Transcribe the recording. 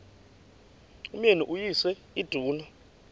umyeni uyise iduna